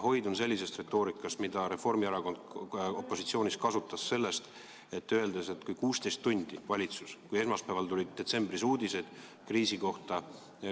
Hoidun sellisest retoorikast, mida Reformierakond opositsioonis olles kasutas, kui ühel detsembri esmaspäeval tulid uudised kriisi kohta,